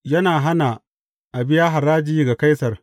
Yana hana a biya haraji ga Kaisar.